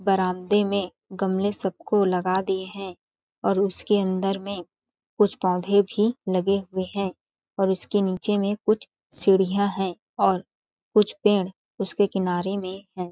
बरांदे में गमले सब को लगा दिए है और उसके अन्दर में कुछ पोधे भी लगे हुए है और उसके नीचे में कुछ सीड़ियाँ है और कुछ पेड़ उसके किनारे में है।